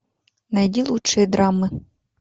найди лучшие драмы